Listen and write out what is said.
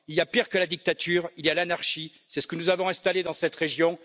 Il y a pire que la dictature, il y a l'anarchie c'est ce que nous avons installé dans cette région.